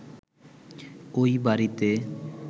ওই বাড়িতে